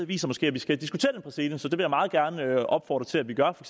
viser måske at vi skal diskutere den præcedens og det jeg meget gerne opfordre til at vi gør for